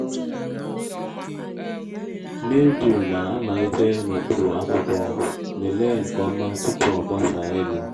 mildew na-amalite n’okpuru akwụkwọ lelee nke ọma tupu o gbasaa elu